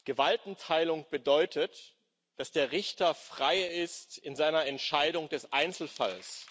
Gewaltenteilung bedeutet, dass der Richter frei ist in seiner Entscheidung des Einzelfalls.